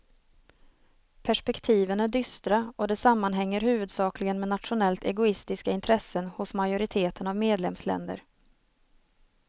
Perspektiven är dystra och det sammanhänger huvudsakligen med nationellt egoistiska intressen hos majoriteten av medlemsländer.